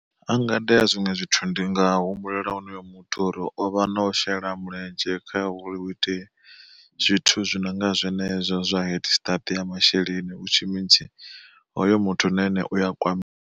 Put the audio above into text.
Hanga iteya zwiṅwe zwithu ndi nga humbulela honoyo muthu uri ovha no shela mulenzhe kha uri hu itee zwithu zwi nonga zwenezwo zwa head start ya masheleni which means hoyo muthu na ene uya kwamea.